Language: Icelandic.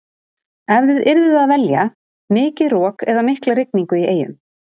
Ef þið yrðuð að velja, mikið rok eða mikla rigningu í eyjum?